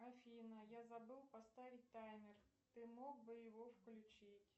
афина я забыл поставить таймер ты мог бы его включить